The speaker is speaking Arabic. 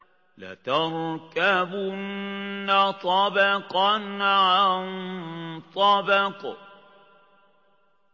لَتَرْكَبُنَّ طَبَقًا عَن طَبَقٍ